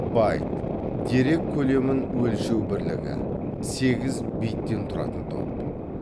байт дерек көлемін өлшеу бірлігі сегіз биттен тұратын топ